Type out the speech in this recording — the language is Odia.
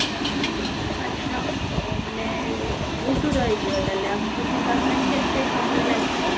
ଆଚ୍ଛା, ତ ମାନେ ବହୁତ ରହି ଯିବ ତାହେଲେ ଆମକୁ ଯିବା ପାଇଁ କେତେ ସମୟ ଲାଗିବ?